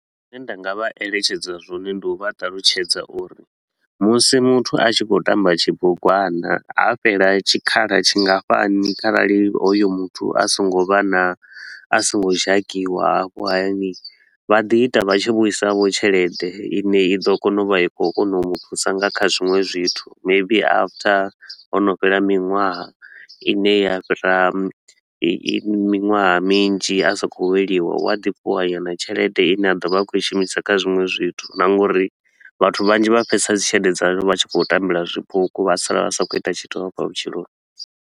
Zwine nda nga vha eletshedza zwone ndi u vha ṱalutshedza uri musi muthu a tshi khou tamba tshibugwana, ha fhela tshikhala tshingafhani kharali hoyo muthu a so ngo vha na a so ngo dzhakiwa hafho hayani. Vha ḓi ita vha tshi vhuisa vho tshelede i ne i ḓo kona u vha i khou kona u mu thusa nga kha zwiṅwe zwithu. Maybe after ho no fhela minwaha i ne ya fhira miṅwaha minzhi a sa khou weliwa, u a ḓi fhiwa nyana tshelede i ne a ḓo vha a khou i shumisa kha zwiṅwe zwithu na nga uri vhathu vhanzhi vha fhedza dzi tshelede dzavho vha tshi khou tambela zwipuku vha sala vha sa khou ita tshithu hafha vhutshiloni.